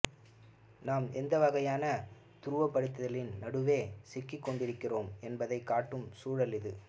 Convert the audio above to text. நாம் எந்தவகையான துருவப்படுத்தலின் நடுவே சிக்கிக்கொண்டிருக்கிறோம் என்பதைக் காட்டும் சூழல் இது